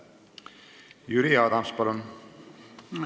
Jüri Adams, palun!